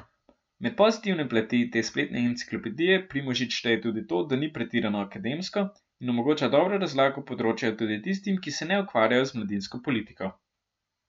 Med pozitivne plati te spletne enciklopedije Primožič šteje tudi to, da ni pretirano akademsko in omogoča dobro razlago področja tudi tistim, ki se ne ukvarjajo z mladinsko politiko.